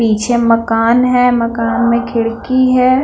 पीछे मकान है मकान में खिड़की है।